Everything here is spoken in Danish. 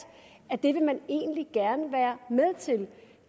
at det er noget man egentlig gerne vil være med til